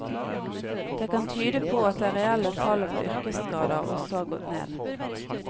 Det kan tyde på at det reelle tallet på yrkesskader også har gått ned.